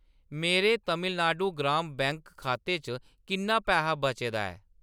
मेरे तमिलनाडु ग्राम बैंक खाते च किन्ना पैहा बचे दा ऐ ?